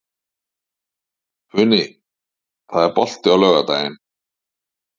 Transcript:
Funi, er bolti á laugardaginn?